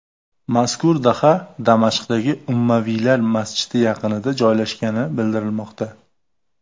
Mazkur daha Damashqdagi Ummaviylar masjidi yaqinida joylashgani bildirilmoqda.